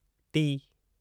T